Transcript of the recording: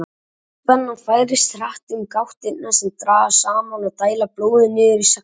Boðspennan færist hratt um gáttirnar sem dragast saman og dæla blóði niður í slegla.